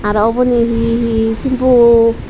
aro uboni hi hi simpu .